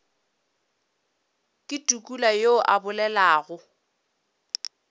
ke tukula yo a bolelago